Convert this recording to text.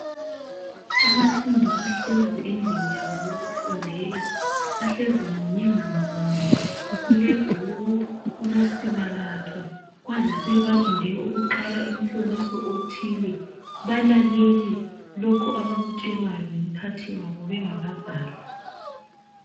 Abafundi bahlezi endlini yabo yokufundela, bahlezi munyengamunye, kulebhuku kulosiba lwakhe bazi sebalinde ukuqala umhloliso othile, balalele lokhu abakutshelwa ngumphathi wabo bengakabhali.